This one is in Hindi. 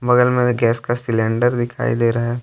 बगल में गैस का सिलेंडर दिखाई दे रहा है।